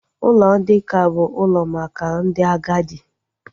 Ụlọ ndị nká bụ ụlọ maka ndị agadi